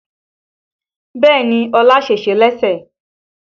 Bẹ́ẹ̀ni Ọlá sèse lẹ́sẹ̀